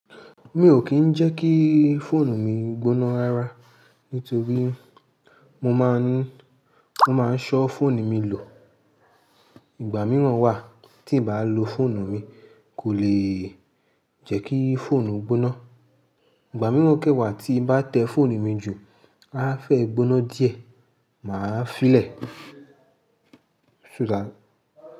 Mi ò kí ń jẹ́ kí fóònù mi gbóná rara nítorí mo máa ń, mo máa ń ṣọ́ fóònù mi lò. Ìgbà mìíràn wà tí n bá lo fóònù mi kò lè jẹ́ kí fóònù gbóná. Ìgbà mìíràn kẹ́wàá tí n bá tẹ fóònù mi jù, á fẹ́ gbóná díẹ̀, màá fi lè so that.